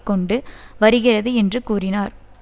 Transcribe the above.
கொண்டு வருகிறது என்று கூறினார்